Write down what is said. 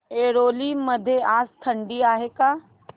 ऐरोली मध्ये आज थंडी आहे का